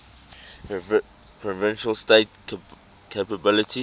provincial state capabilities